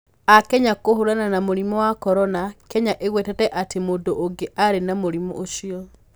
Akenya kũhũrana na mũrimũ wa Korona: Kenya ĩgwetete atĩ mũndũ ũngĩ arĩ na mũrimũ ũcio